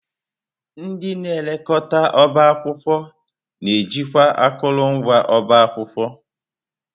Ndị na elekọta ọbá akwụkwọ na-ejikwa akụrụngwa ọba akwụkwọ.